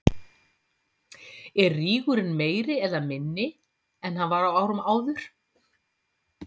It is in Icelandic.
Er rígurinn meiri eða minni en hann var á árum áður?